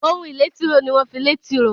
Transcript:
Ohun ìlé tìróò ní wón fí lẹ tìróò